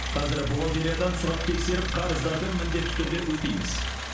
қазір бухгалтериядан сұрап тексеріп қарыздарды міндетті түрде өтейміз